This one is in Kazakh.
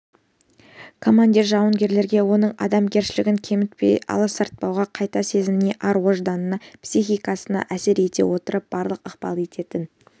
командир жауынгерге оның адамгершілігін кемітпей аласартпай кайта сезіміне ар-ожданына психикасына әсер ете отырып барлық ықпал ететін